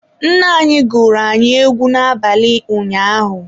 Nne anyị gụrụ anyị egwu n'abalị ụnyaahụ